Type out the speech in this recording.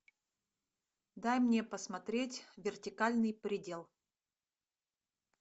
дай мне посмотреть вертикальный предел